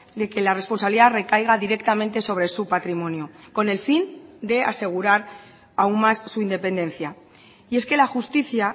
de que la responsabilidad recaiga directamente sobre su patrimonio con el fin de asegurar aún más su independencia y es que la justicia